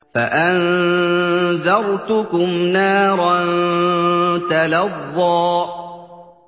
فَأَنذَرْتُكُمْ نَارًا تَلَظَّىٰ